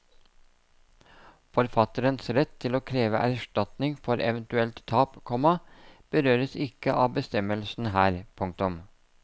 Forfatterens rett til å kreve erstatning for eventuelt tap, komma berøres ikke av bestemmelsen her. punktum